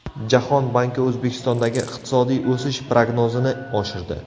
Jahon banki O‘zbekistondagi iqtisodiy o‘sish prognozini oshirdi.